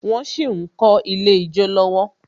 Wón sì ń kọ́ Ilé ijó lọ́wọ́